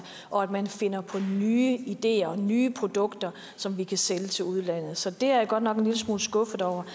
og at man finder på nye ideer nye produkter som vi kan sælge til udlandet så det er jeg godt nok en lille smule skuffet over